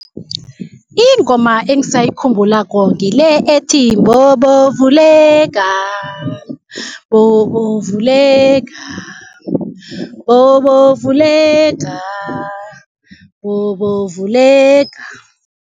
Ingoma engisayikhumbulako ngile ethi, Mbobo vuleka, mbobo vuleka, mbobo vuleka, mbobo vuleka.